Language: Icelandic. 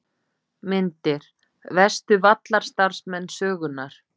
Myndir: Verstu vallarstarfsmenn sögunnar?